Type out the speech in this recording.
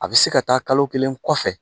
A bɛ se ka taa kalo kelen kɔfɛ.